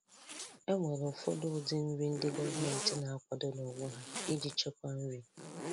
E nwere ụfọdụ ụdị nri ndị gọọmentị na-akwado n'onwe ha iji chekwaa nri